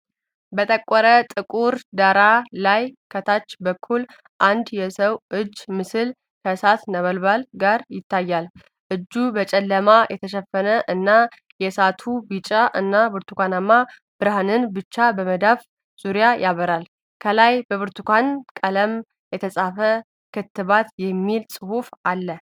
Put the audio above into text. በጠቆረ ጥቁር ዳራ ላይ፤ ከታች በኩል አንድ የሰው እጅ ምስል ከእሳት ነበልባል ጋር ይታያል። እጁ በጨለማ የተሸፈነ እና፤ የእሳቱ ቢጫ እና ብርቱካናማ ብርሃን ብቻ በመዳፉ ዙሪያ ያበራል። ከላይ በብርቱካን ቀለም "የተስፋ ክትባት" የሚል ጽሑፍ አለ።